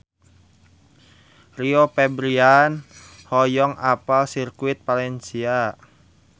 Rio Febrian hoyong apal Sirkuit Valencia